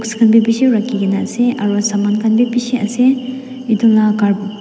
saman bi bishi rakikina asae aroo saman khan bi bishi ase etu la--